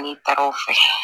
N'i taara o fɛ